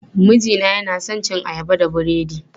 Mijina yana son cin ayaba da burodi.